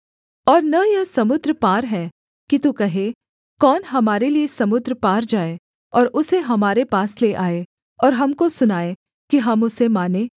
और न यह समुद्र पार है कि तू कहे कौन हमारे लिये समुद्र पार जाए और उसे हमारे पास ले आए और हमको सुनाए कि हम उसे मानें